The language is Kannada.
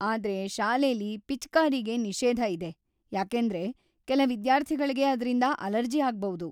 ಆದ್ರೆ ಶಾಲೆಲಿ ಪಿಚಕಾರಿಗೆ ನಿಷೇಧ ಇದೆ ಯಾಕೆಂದ್ರೆ ಕೆಲ ವಿದ್ಯಾರ್ಥಿಗಳ್ಗೆ ಅದ್ರಿಂದ ಅಲರ್ಜಿ ಆಗ್ಬೌದು.